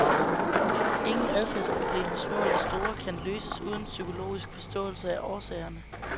Ingen adfærdsproblemer, små eller store, kan løses uden psykologisk forståelse af årsagerne.